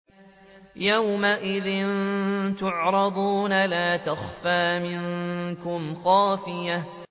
يَوْمَئِذٍ تُعْرَضُونَ لَا تَخْفَىٰ مِنكُمْ خَافِيَةٌ